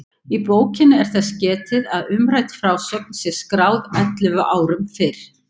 Í bókinni er þess getið að umrædd frásögn sé skráð ellefu árum fyrr.